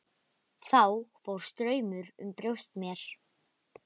Þá fór straumur um brjóst mér.